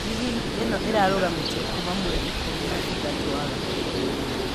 Rigi ĩno ĩrarũgamĩtio kuuma mweri ikũmi na ithatũ wa-gatatũ